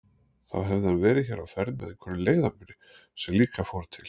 Þá hefði hann verið hér á ferð með einhverjum leiðangri sem líka fór til